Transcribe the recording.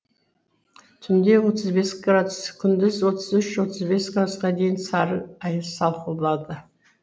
түнде отыз бес градус күндіз отызүш отыз бес градусқа дейін сары аяз сақылдады